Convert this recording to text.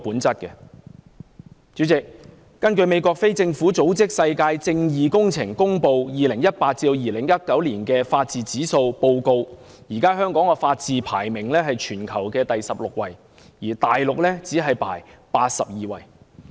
主席，根據美國非政府組織"世界正義工程"公布的 2018-2019 年度法治指數報告，現時香港的法治排名為全球第十六位，而大陸只是第八十二位。